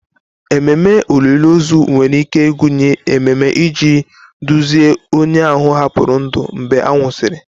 Ememe olili ozu nwere ike ịgụnye emume iji duzie onye ahụ hapụrụ ndụ mgbe a nwụsịrị.